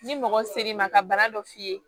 Ni mɔgɔ ser'i ma ka bana dɔ f'i ye